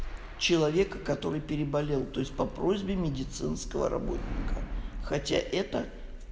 человек который переболел то есть по просьбе медицинского работника хотя это